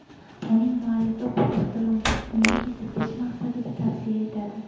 Uning muallifi bu ixtironi uyni isitish maqsadida tavsiya etadi.